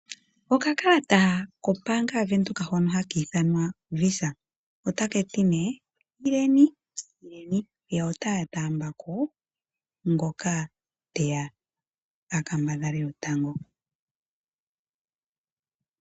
Okakalata kombaanga yaVenduka hono haka ithanwa Visa otakati nee ileni ileni yo otaya taambako ngoka teya a kambadhale natango.